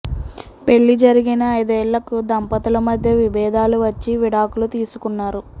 పెళ్లి జరిగిన ఐదేళ్లకు దంపతుల మధ్య విభేదాలు వచ్చి విడాకులు తీసుకున్నారు